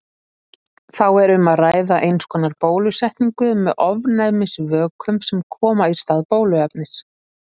Þá er um að ræða eins konar bólusetningu með ofnæmisvökum sem koma í stað bóluefnis.